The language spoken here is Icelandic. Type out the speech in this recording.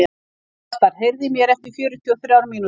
Þrastar, heyrðu í mér eftir fjörutíu og þrjár mínútur.